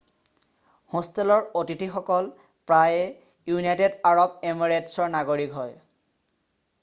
হোষ্টেলৰ অতিথিয়কল প্ৰায়ে ইউনাইটেড আৰব এমিৰেটছৰ নাগৰিক হয়